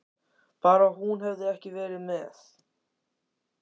Bara hún hefði ekki verið með.